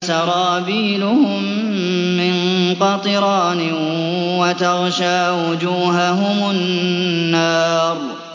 سَرَابِيلُهُم مِّن قَطِرَانٍ وَتَغْشَىٰ وُجُوهَهُمُ النَّارُ